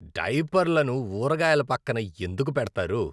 డైపర్లను ఊరగాయల పక్కన ఎందుకు పెడతారు?